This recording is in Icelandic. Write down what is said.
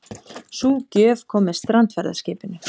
Sú gjöf kom með strandferðaskipinu.